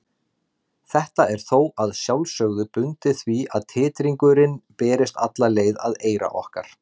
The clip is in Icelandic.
Þetta er þó að sjálfsögðu bundið því að titringurinn berist alla leið að eyra okkar.